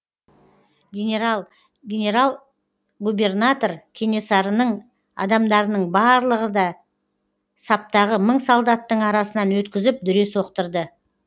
генерал губернатор кенесарының адамдарының барлығын да саптағы мың солдаттың арасынан өткізіп дүре соқтырды